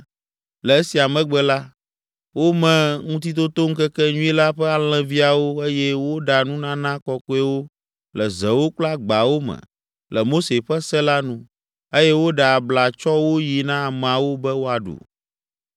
Le esia megbe la, wome Ŋutitotoŋkekenyui la ƒe alẽviawo eye woɖa nunana kɔkɔewo le zewo kple agbawo me le Mose ƒe se la nu eye woɖe abla tsɔ wo yi na ameawo be woaɖu.